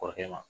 Kɔrɔkɛ ma